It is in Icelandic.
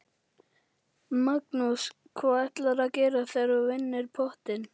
Magnús: Hvað ætlarðu að gera ef þú vinnur pottinn?